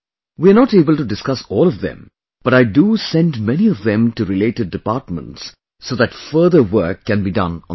We are not able to discuss all of them, but I do send many of them to related departments so that further work can be done on them